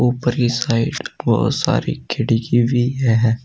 ऊपर की साइड बहुत सारी खिड़की भी है।